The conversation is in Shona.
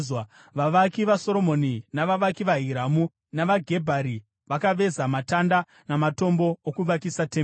Vavaki vaSoromoni, navavaki vaHiramu navaGebhari vakaveza matanda namatombo okuvakisa temberi.